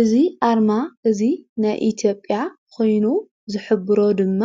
እዙ ኣርማ እዙይ ናይ ኢቲዮጴያ ኾይኑ ዘሕብሮ ድማ